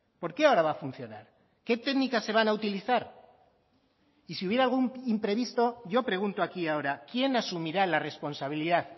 por qué ahora va a funcionar qué técnicas se van a utilizar y si hubiera algún imprevisto yo pregunto aquí ahora quién asumirá la responsabilidad